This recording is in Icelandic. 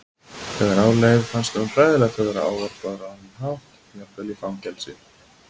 Þegar á leið fannst honum hræðilegt að vera ávarpaður á þennan hátt jafnvel í fangelsi.